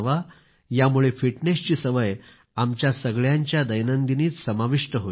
यामुळे फिटनेस ची सवय आमच्या सगळ्यांच्या दैनंदिनीत सामील होईल